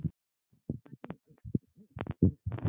Henni verður mikið niðri fyrir.